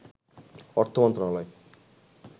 অর্থ মন্ত্রণালয়